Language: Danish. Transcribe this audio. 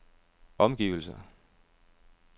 omgivelser